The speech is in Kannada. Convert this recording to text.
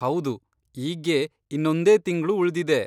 ಹೌದು, ಈಗ್ಗೆ ಇನ್ನೊಂದೇ ತಿಂಗ್ಳು ಉಳ್ದಿದೆ.